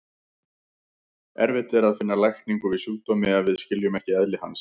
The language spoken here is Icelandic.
Erfitt er að finna lækningu við sjúkdómi ef við skiljum ekki eðli hans.